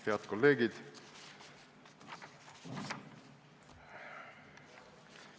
Head kolleegid!